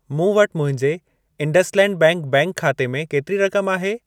मूं वटि मुंहिंजे इंडसलैंड बैंक बैंक खाते में केतिरी रक़म आहे?